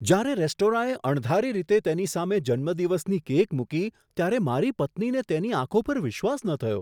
જ્યારે રેસ્ટોરાંએ અણધારી રીતે તેની સામે જન્મદિવસની કેક મૂકી ત્યારે મારી પત્નીને તેની આંખો પર વિશ્વાસ ન થયો.